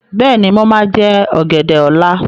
Bẹ́ẹ̀ni, mo máa jẹ ọ̀gẹ̀dẹ̀ ọ́la.